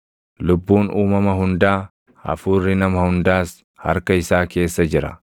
Lubbuun uumama hundaa, hafuurri nama hundaas harka isaa keessa jira.